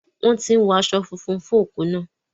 Wọ́n tí ń wọ aṣọ funfun fún òkú náà.